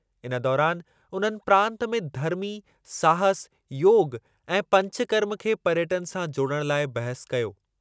इन दौरानि उन्हनि प्रांतु में धर्मी, साहसु, योगु ऐं पंचकर्म खे पर्यटनु सां जोड़ण लाइ बहसु कयो।